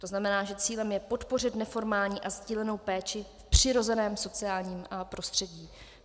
To znamená, že cílem je podpořit neformální a sdílenou péči v přirozeném sociálním prostředí.